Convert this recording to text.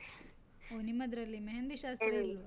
ಓ ನಿಮ್ಮದ್ರಲ್ಲಿ मेहँदी ಶಾಸ್ತ್ರ ಇಲ್ವಾ?